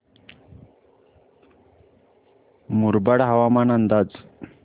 मुरबाड हवामान अंदाज